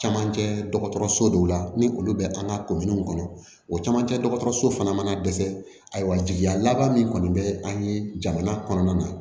Camancɛ dɔgɔtɔrɔso dɔw la ni olu bɛ an ka ko minnu kɔnɔ o camancɛ dɔgɔtɔrɔso fana mana dɛsɛ ayiwa jigiya laban min kɔni bɛ an ye jamana kɔnɔna na